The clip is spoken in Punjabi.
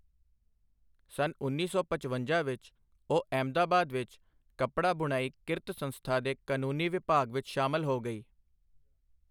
ਸੰਨ ਉੱਨੀ ਸੌ ਪਚਵੰਜਾ ਵਿੱਚ ਉਹ ਅਹਿਮਦਾਬਾਦ ਵਿੱਚ ਕੱਪੜਾ ਬੁਣਾਈ ਕਿਰਤ ਸੰਸਥਾ ਦੇ ਕਾਨੂੰਨੀ ਵਿਭਾਗ ਵਿੱਚ ਸ਼ਾਮਲ ਹੋ ਗਈ।